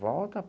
Volta.